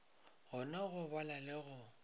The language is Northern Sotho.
kgona go bala le go